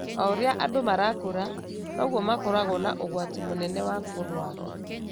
O ũrĩa andũ marakũra, noguo makoragwo na ũgwati mũnene wa kũrũara.